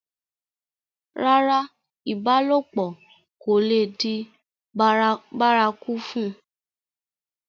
rárá, ìbálòpọ̀ kò le di bárakú fún un